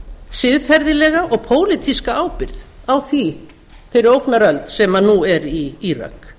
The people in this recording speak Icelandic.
siðferðilega og pólitíska ábyrgð á þeirri ógnaröld sem nú er í írak